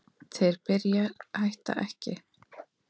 Þeir sem byrja hætta ekki!